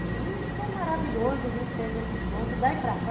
E foi maravilhoso, a gente fez esse encontro, daí para cá,